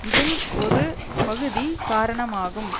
இதில் ஒரு பகுதி காரணமாகும்